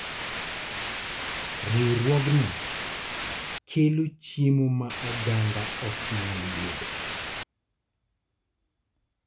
Riwruogno kelo chiemo ma oganda ok nyal yudo.